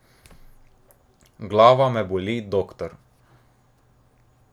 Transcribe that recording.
Glava me boli, doktor.